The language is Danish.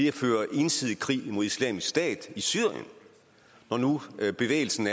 at føre ensidig krig mod islamisk stat i syrien når nu bevægelsen